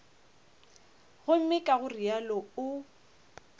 gomme ka go realo o